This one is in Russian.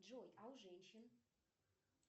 джой а у женщин